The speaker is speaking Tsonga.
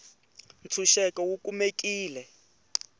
tshuxeko wu kumekile